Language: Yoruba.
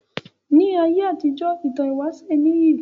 Ní ayé àtijọ ìtàn ìwáṣẹ níyì